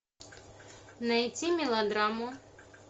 найти мелодраму